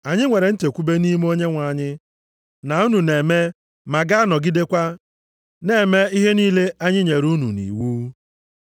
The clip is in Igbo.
Anyị nwere nchekwube nʼime Onyenwe anyị na unu na-eme ma ga-anọgidekwa na-eme ihe niile anyị nyere unu nʼiwu.